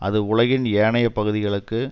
அது உலகின் ஏனைய பகுதிகளுக்கு